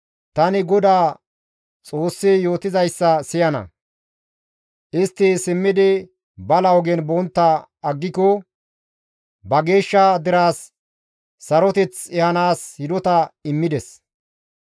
Tani GODAA Xoossi yootizayssa siyana; istti simmidi bala ogen bontta aggiko, ba geeshsha deraas Saroteth ehanaas hidota immides.